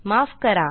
माफ करा